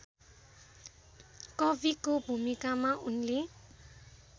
कविको भूमिकामा उनले